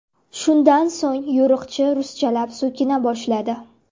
Shundan so‘ng yo‘riqchi ruschalab so‘kina boshladi.